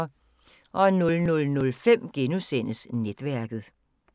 00:05: Netværket *